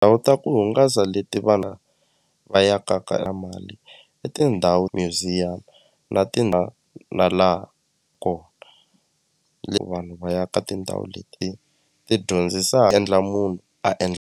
Ndhawu ta ku hungasa leti vana va ya ka ka a mali i tindhawu museum na ti na laha kona vanhu va ya ka tindhawu leti ti endla munhu a endla.